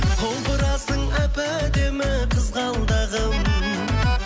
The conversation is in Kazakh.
құлпырасың әп әдемі қызғалдағым